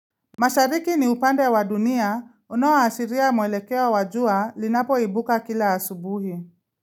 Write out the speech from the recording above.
Mashariki ni upande wa dunia unao ashiria mwelekeo wajua linapo ibuka kila asubuhi.